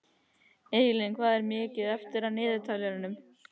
Eyjalín, hvað er mikið eftir af niðurteljaranum?